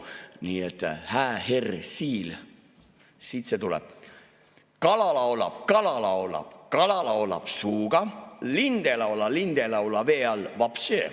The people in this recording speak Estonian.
Nii et, hää herr Siil, siit see tuleb: "Kala laulab, kala laulab, kala laulab suuga, lind ei laula, lind ei laula vee all voobštše.